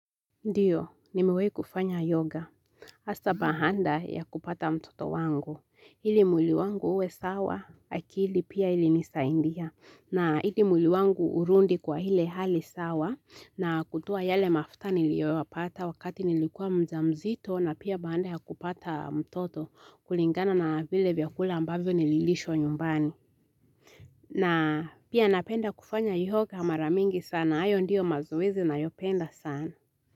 Ndiyo, nimiwai kufanya yoga. Hasa baada ya kupata mtoto wangu. Hili mwili wangu uwe sawa, akili pia ilinisaidia. Na hili mwili wangu urudi kwa ile hali sawa. Na kutoa yale mafuta niliyo yapata wakati nilikua mjamzito na pia baada ya kupata mtoto kulingana na vile vyakula ambavyo nililishwa nyumbani. Na pia napenda kufanya yoga mara mingi sana. Hayo ndio mazoezi ninayopenda sana.